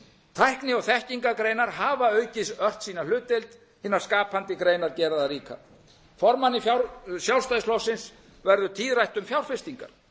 tækni og þekkingargreinar hafa aukið ört sína hlutdeild hinnar skapandi greinar gera það líka formanni sjálfstæðisflokksins verður tíðrætt um fjárfestingar